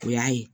O y'a ye